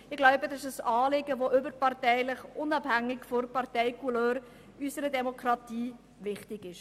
Ich glaube, dies ist ein Anliegen, das überparteilich, unabhängig von der Parteicouleur, in unserer Demokratie wichtig ist.